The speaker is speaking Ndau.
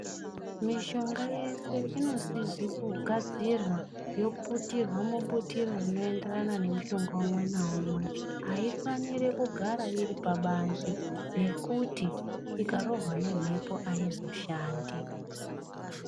Mitombo yese paunopedza kugadzira inoputirwa mubutiro rinoenderane nemumushonga umwenaumwe aifaniri kugara iri pabanze ngekuti ikarohwa nemhepo aizoshandi .